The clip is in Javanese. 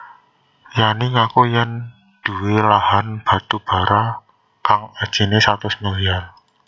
Yanni ngaku yèn nduwé lahan batubara kang ajiné satus milyar